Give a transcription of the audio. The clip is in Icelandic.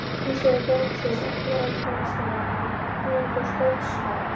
Hins vegar kom sú afturhaldssama nýjung í skáldskap